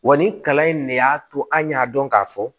Wa nin kalan in ne y'a to an y'a dɔn k'a fɔ